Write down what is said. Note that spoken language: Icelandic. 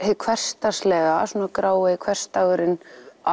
hið hversdagslega svona grái hversdagurinn